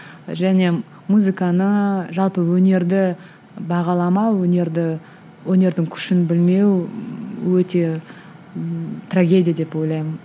және музыканы жалпы өнерді бағаламау өнерді өнердің күшін білмеу өте ммм трагедия деп ойлаймын